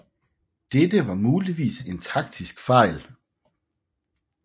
Dette var muligvis en taktisk fejl